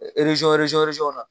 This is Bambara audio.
w na